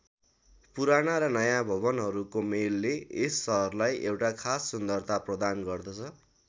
पुराना र नयाँ भवनहरूको मेलले यस सहरलाई एउटा खास सुन्दरता प्रदान गर्दछ।